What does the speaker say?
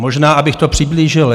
Možná abych to přiblížil.